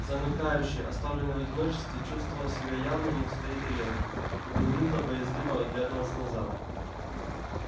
замыкающий оставленный в одиночестве чувствовал себя явно не в своей тарелке и поминутно боязливо оглядывался назад